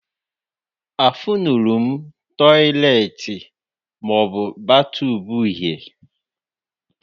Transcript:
Afụnurọm tọiletị maọbụ batọb uhie